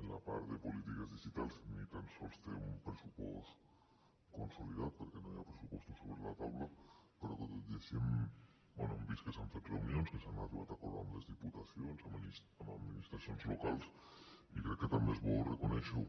en la part de polítiques digitals ni tan sols té un pressupost consolidat perquè no hi ha pressupostos sobre la taula però que tot i així bé hem vist que s’han fet reunions s’han arribat a acords amb les diputacions amb administracions locals i crec que també és bo reconèixer ho